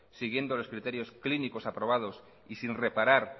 siguiendo los criterios clínicos aprobados y sin reparar